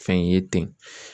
Fɛn ye ten.